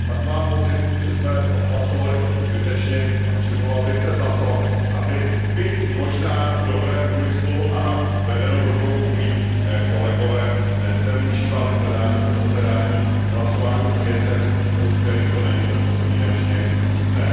Pak mám pocit, že jsme hlasovali trochu zbytečně a přimlouval bych se za to, aby byť možná v dobrém úmyslu a vedeni dobrou vůlí kolegové nezneužívali plenárního zasedání k hlasování o věcech, u kterých to není bezpodmínečně nutné.